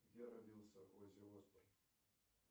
где родился оззи осборн